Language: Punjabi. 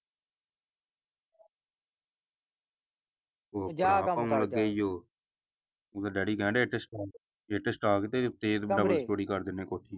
ਮੇਰਾ ਡੈਡੀ ਕਹਿਣ ਡੇਆ ਇੱਟ ਸਟਾ ਕੇ ਤੇ ਫਿਰ double story ਕਰ ਦਿੰਨੇ ਕੋਠੀ।